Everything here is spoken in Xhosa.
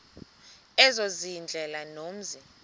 ezo ziindlela zomzi